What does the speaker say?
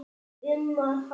um að halda.